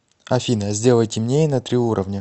афина сделай темнее на три уровня